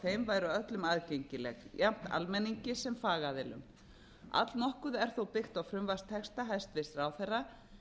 þeim væru öllum aðgengileg jafnt almenningi sem fagaðilum allnokkuð er þó birt á frumvarpstexta hæstvirtur ráðherra